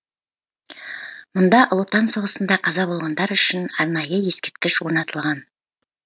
мұнда ұлы отан соғысында қаза болғандар үшін арнайы ескерткіш орнатылған